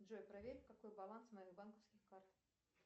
джой проверь какой баланс моих банковских карт